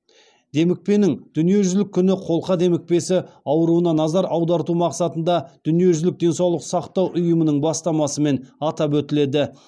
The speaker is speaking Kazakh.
демікпенің дүниежүзілік күні қолқа демікпесі ауруына назар аударту мақсатында дүниежүзілік денсаулық сақтау ұйымының бастамасымен атап өтіледі